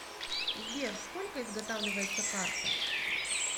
сбер сколько изготавливается карта